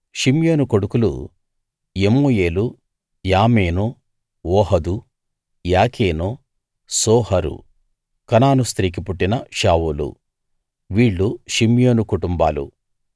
షిమ్యోను కొడుకులు యెమూయేలు యామీను ఓహదు యాకీను సోహరు కనాను స్త్రీకి పుట్టిన షావూలు వీళ్ళు షిమ్యోను కుటుంబాలు